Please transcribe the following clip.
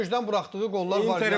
Yaxın küncdən buraxdığı qollar var idi.